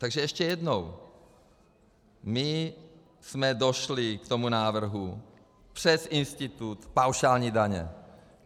Takže ještě jednou: My jsme došli k tomu návrhu přes institut paušální daně.